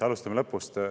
Alustame lõpust.